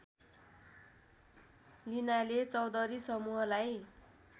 लिनाले चौधरी समूहलाई